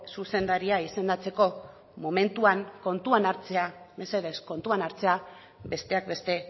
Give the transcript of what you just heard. zuzendaria izendatzeko momentuan kontuan hartzea mesedez kontuan hartzea besteak beste